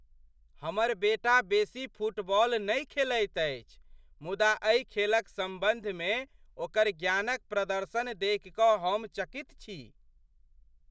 हमर बेटा बेसी फ़ुटबॉल नहीं खेलैत अछि मुदा एहि खेलक सम्बन्धमे ओकर ज्ञानक प्रदर्शन देखि कऽ हम चकित छी।